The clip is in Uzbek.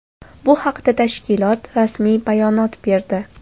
Bu haqda tashkilot rasmiy bayonot berdi .